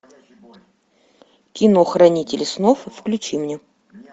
ы